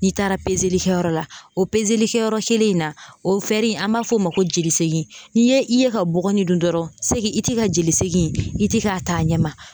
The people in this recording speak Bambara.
N'i taara likɛyɔrɔ la o likɛyɔrɔ kelen in na o an m'a fɔ o ma ko jelisegin n'i ye i ye ka bɔgɔnin dun dɔrɔn i ti ka jeli segin in i ti k'a ta a ɲɛ ma.